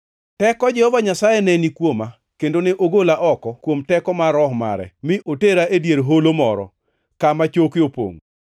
Teko Jehova Nyasaye ne ni kuoma, kendo ne ogola oko kuom teko mar Roho mare mi otera e dier holo moro; kama choke opongʼo.